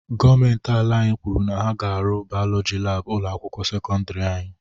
Gọọmenti ala anyị kwuru na ha ga arụ bayọlọji laabụ ụlọ akwụkwọ sekọndiri anyị